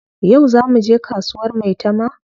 Yau zaa muje kasuwar maitama?